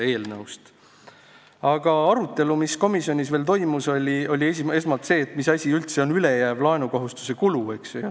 Aga arutelu, mis komisjonis veel toimus, käis esmalt selle üle, mis asi on üldse ülejääv laenukasutuse kulu.